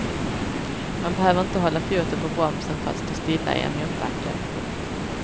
Man behöver inte hålla foten på bromsen för att stå stilla i en motbacke. punkt